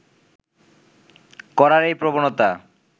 করার এই প্রবণতা